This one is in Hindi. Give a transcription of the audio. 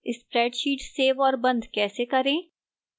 spreadsheet सेव और बंद कैसे करें